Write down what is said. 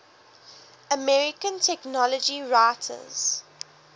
american technology writers